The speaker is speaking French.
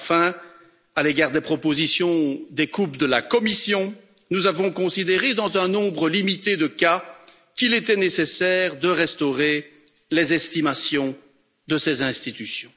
Enfin, à l'égard des propositions des coupes de la Commission, nous avons considéré dans un nombre limité de cas qu'il était nécessaire de restaurer les estimations de ces institutions.